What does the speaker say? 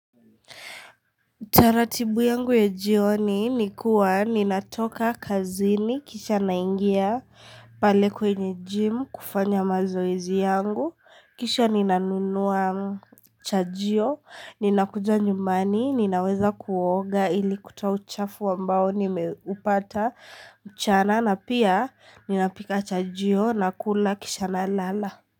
Utaratibu yangu ya jioni nikuwa ninatoka kazini kisha naingia pale kwenye gym kufanya mazoezi yangu kisha ninanunua chaJio ninakuja nyumbani ninaweza kuoga ili kutoa uchafu ambao nimeupata mchana na pia ninapika chaJio nakula kisha nalala.